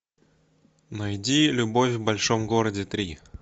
найди любовь в большом городе три